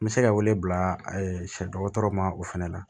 N bɛ se ka wele bila siɲɛ dɔgɔtɔrɔ ma o fana la